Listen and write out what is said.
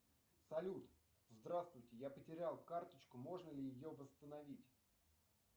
салют здравствуйте я потерял карточку можно ли ее восстановить